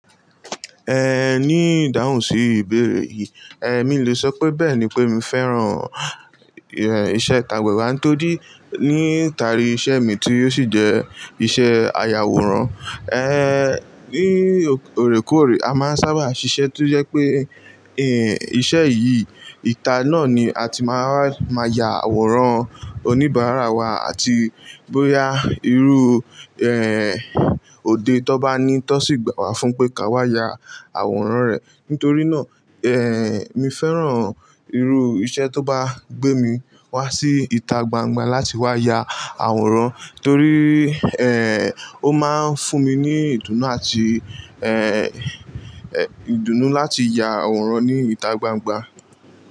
Eh, ní ìdáhùn sí ìbéèrè yìí, èmi lè sọ pé bẹ́ẹ̀ ni pé mi féràn, eh, iṣẹ́ ìtàgbà ẹ̀wá tórií níta ri iṣẹ́ mi tí ó sì jẹ́ iṣẹ́ ayàwòrán. Eh, ní òrèkóòrè, a máa ń sábà ṣiṣẹ́ tó jẹ́ pé, eh, iṣẹ́ yìí, ìta náà ni a ti máa máa ya àwòrán oníbàárà wa àti bóyá irú, eh, òde tón bá ní tọ́ sì gbà wá fún pé ka wá ya àwòrán rẹ̀. Nítorí náà, eh, mi féràn irú iṣẹ́ tó bá gbé mi wá sí ìta gbangba láti wá ya àwòrán torí, eh, ó máa ń fún mi ní ìdùnnú àti, eh, eh, ìdùnnú láti ya àwòrán ní ìta gbangba.